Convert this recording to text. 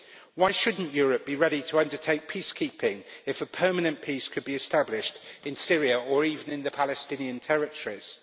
Why shouldn't Europe be ready to undertake peacekeeping if a permanent peace could be established in Syria or even in the Palestinian territories?